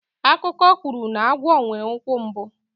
Akụkọ kwuru na agwọ nwere ikwu mbụ.